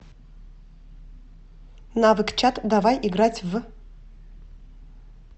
навык чат давай играть в